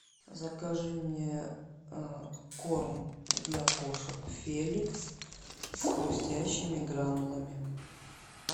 закажи мне корм для кошек феликс с хрустящими гранулами